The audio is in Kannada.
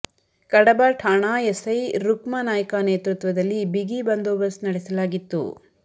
ಕಡಬ ಠಾಣಾ ಎಸೈ ರುಕ್ಮ ನಾಯ್ಕ ನೇತೃತ್ವದಲ್ಲಿ ಬಿಗಿ ಬಂದೋಬಸ್ತ್ ನಡೆಸಲಾಗಿತ್ತು